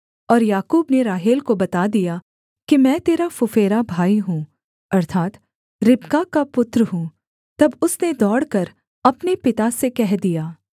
और याकूब ने राहेल को बता दिया कि मैं तेरा फुफेरा भाई हूँ अर्थात् रिबका का पुत्र हूँ तब उसने दौड़कर अपने पिता से कह दिया